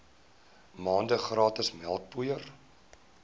maande gratis melkpoeier